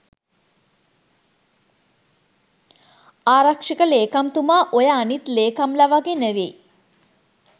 ආරක්ෂක ලේකම්තුමා ඔය අනිත් ලේකම්ලා වගේ නෙවෙයි.